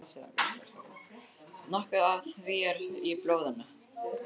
Nokkuð af því er í blóðinu.